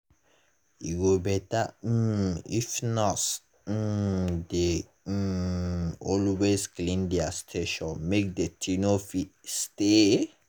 e go better um if nurses um dey um always clean their station make deti no fit stay.